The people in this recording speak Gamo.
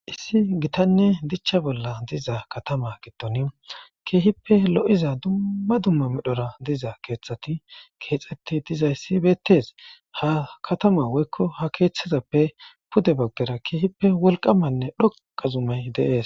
issi gitanne dichcha bolla diza katama gitton keehippe lo7iza dumma dumma midhora diza keeththati keexetti dizayssi beettes ha katama woykko ha keeththizappe pude baggera keehippe wolqamanne dhoqa zumey deees